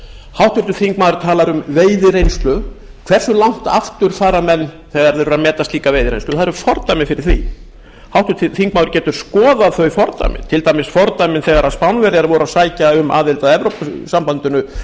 háttvirtur þingmaður talar um veiðireynslu hversu langt aftur fara menn þegar þeir eru að meta slíka veiðireynslu það eru fordæmi fyrir því háttvirtur þingmaður getur skoðað þau fordæmi til dæmis fordæmin þegar spánverjar voru að sækja um aðild að evrópusambandinu ég man ekki